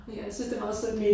Ja jeg synes det meget sødt